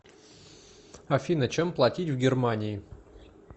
афина чем платить в германии